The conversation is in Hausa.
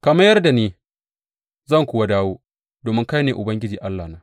Ka mayar da ni, zan kuwa dawo, domin kai ne Ubangiji Allahna.